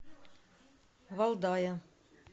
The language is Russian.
валдая